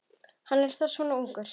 Hann er þá svona ungur.